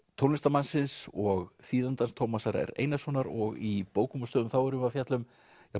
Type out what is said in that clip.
tónlistarmannsins og þýðandans Tómasar r Einarssonar og í bókum og stöðum erum við að fjalla um